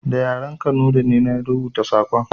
Da yaren Kanuri ne na rubuta saƙon